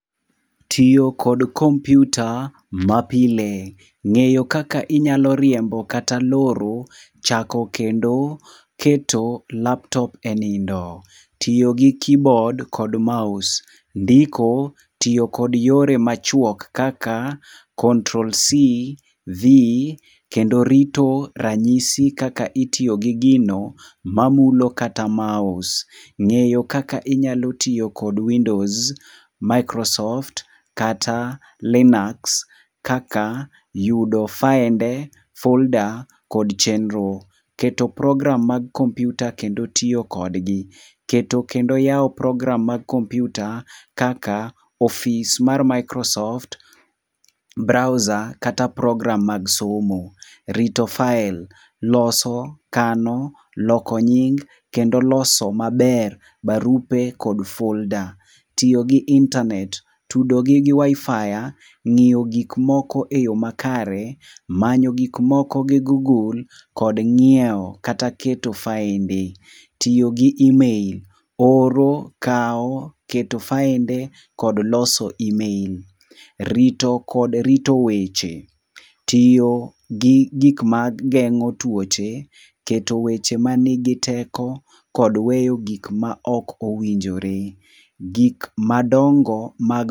Tiyo kod kompiuta mapile. Ngeyo kaka inyalo riembo kata loro chako kendo keto laptop e nindo. Tiyo kod kibod kod maos. Ndiko tiyo kod yore machuok kaka Control C, V, kendo rito ranyisi kaka itiyo gi gino mam ulo kata maos. Ng'eyo kaka inyalo tiyo kod windos, maikrosoft kata linax kata yudo faende, folda kod chenro. Keto program mag kompiuta kendo tiyo kodgi. Yawo program mag kompiuta kaka ofis mar maikrosoft, braosa, kata program mag somo. Rito fael. Loso, kano, loko nying kendo loso maber barupe kod folda. Tiyo gi internet. Tudogi gi WiFi, ng'iyo gik moko eyo makare, manyo gik moko gi gugul, kod ng'iewo kata keto faende. Tiyo gi imel, oro, kawo keto faende kod loso imel. Rito kod rito weche, tiyo gi gik mageng'o tuoche, keto weche manigiteko kod weyo gik ma ok owinjore. Gik madongo mag